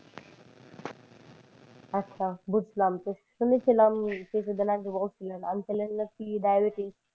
আচ্ছা বুঝলাম তো শুনেছিলাম কিছুদিন আগে বলছিলেন uncle এর নাকি diabetis